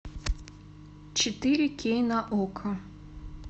четыре кей на окко